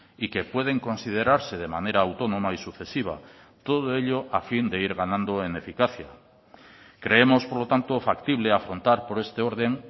y que pueden considerarse de manera autónoma y sucesiva todo ello a fin de ir ganando en eficacia creemos por lo tanto factible afrontar por este orden